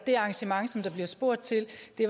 det